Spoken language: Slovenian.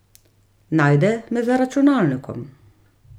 Najde me za računalnikom.